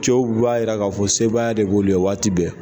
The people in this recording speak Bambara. Cɛw b'a jira k'a fɔ sebaaya de b'olu ye waati bɛɛ